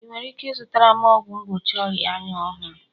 ị nwere ike ịzụtara m ọgwụ mgbochi ọria anya ọhụrụ?